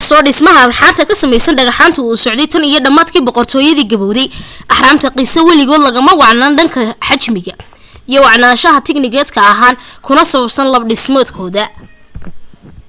inkastoo dhismaha ahraamta ka samaysan dhagxaantu uu socday tan iyo dhamaadkii boqortooyadii gabawday ahraamta giza waligood lagama wacnaan dhanka xajmiga iyo wacnaansha tignikaal ahaaneed kuna saabsan hab dhismeedkeeda